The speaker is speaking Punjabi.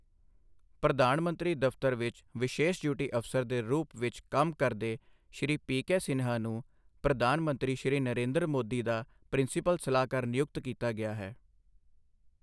ਪ੍ਰਧਾਨ ਮੰਤਰੀ ਦਫ਼ਤਰ ਵਿੱਚ ਵਿਸ਼ੇਸ਼ ਡਿਊਟੀ ਅਫ਼ਸਰ ਦੇ ਰੂਪ ਵਿੱਚ ਕੰਮ ਕਰਦੇ, ਸ਼੍ਰੀ ਪੀ. ਕੇ. ਸਿਨਹਾ ਨੂੰ ਪ੍ਰਧਾਨ ਮੰਤਰੀ ਸ਼੍ਰੀ ਨਰੇਂਦਰ ਮੋਦੀ ਦਾ ਪ੍ਰਿੰਸੀਪਲ ਸਲਾਹਕਾਰ ਨਿਯੁਕਤ ਕੀਤਾ ਗਿਆ ਹੈ